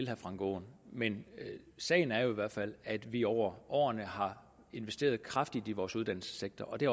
herre frank aaen men sagen er jo i hvert fald at vi over årene har investeret kraftigt i vores uddannelsessektor og det